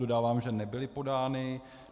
Dodávám, že nebyly podány.